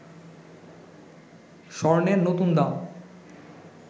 স্বর্ণের নতুন দাম